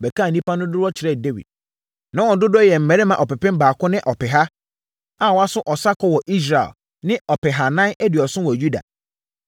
bɛkaa nnipa no dodoɔ kyerɛɛ Dawid. Na wɔn dodoɔ yɛ mmarima ɔpepem baako ne ɔpeha a wɔaso ɔsa kɔ wɔ Israel ne ɔpehanan aduɔson wɔ Yuda.